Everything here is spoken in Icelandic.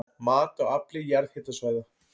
Mat á afli jarðhitasvæða